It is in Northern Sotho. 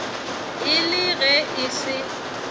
e le ge e se